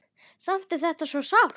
Samt er þetta svo sárt.